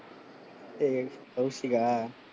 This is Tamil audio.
ஹே கௌசிக்கா?